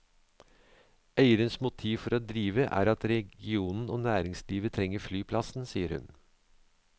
Eiernes motiv for å drive er at regionen og næringslivet trenger flyplassen, sier hun.